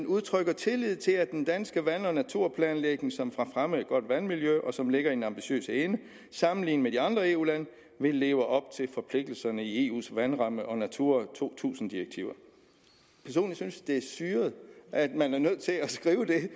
udtrykker tillid til at den danske vand og naturplanlægning som har fremmet et godt vandmiljø og som ligger i den ambitiøse ende sammenlignet med de andre eu lande vil leve op til forpligtelserne i eus vandramme og natura to tusind direktiver personligt synes jeg det er syret at man er nødt til at skrive det